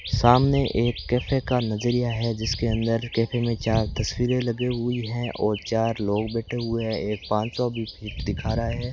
सामने एक कैफे का नजरिया है जिसके अंदर कैफे में चार तस्वीरें लगे हुई हैं और चार लोग बैठे हुए हैं एक पांच सौ भी दिखा रहा है।